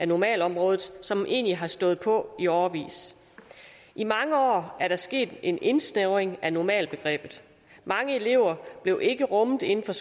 normalområdet som egentlig har stået på i årevis i mange år er der sket en indsnævring af normalbegrebet mange elever blev ikke rummet inden for